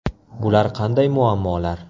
Bular qanday muammolar?